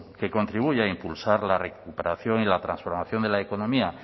que contribuye a impulsar la recuperación y la transformación de la economía